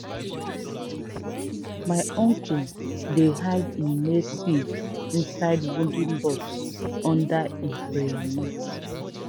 no ever put heritage seed near direct fire heat.